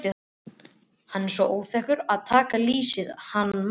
Hann er svo óþekkur að taka lýsið hann Már.